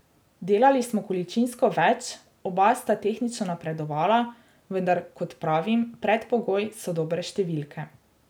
Delali smo količinsko več, oba sta tehnično napredovala, vendar, kot pravim, predpogoj so dobre številke.